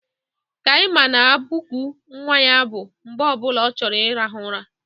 Kaima na-abụku nwa ya abụ mgbe ọ bụla ọ chọrọ ịrahụ ụra